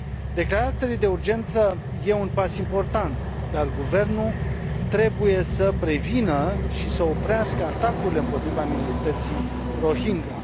Declararea stării de urgență este un pas important, dar guvernul trebuie să prevină și să oprească atacurile împotriva minorității Rohingya.